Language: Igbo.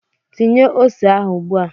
Tinye ose ahụ ugbua!